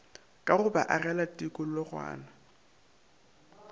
ka go ba agela tikologwana